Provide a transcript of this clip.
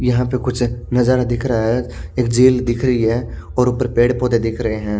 यहां पे कुछ नजारा दिख रहा है एक झील दिख रही है और ऊपर पेड़ पौधे दिख रहे हैं।